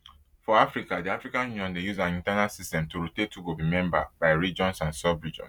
for africa di african union dey use an internal system to rotate who go be member by regions and subregions